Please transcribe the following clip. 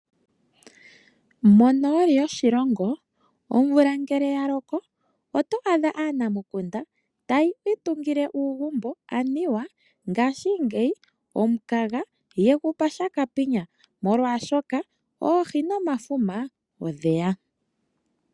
Monooli yoshilongo omvula ngele ya loko oto adha aanamukunda taya itungile uugumbo anuwa ngaashingeyi omukaga yegu pa shakapinya, molwaashoka oohi nomafuma odheya.